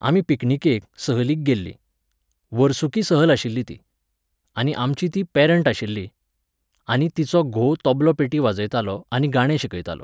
आमी पिकनीकेक, सहलीक गेल्लीं. वर्सुकी सहल आशिल्ली ती. आनी आमची ती पॅरँट आशिल्ली, आनी तिचो घोव तबलो पेटी वाजयतालो आनी गाणें शिकयतालो.